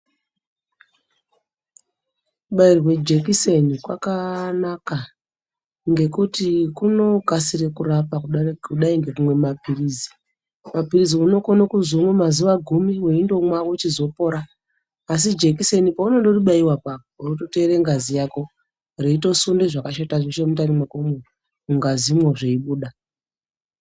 Ku bairwa jekiseni kwakanaka ngekuti kuno kasire kurapa kudai ngekumwe mapirizi mapirizi huno kone kuziwo mazuva gumi we ndomwa wochizo pora asi jekiseni paunondori baiwa pona apa onoto teere ngazi yako reitosunda zvese zvakashata zveshe mundani mwakomwo mu ngazi mwo zvei buda.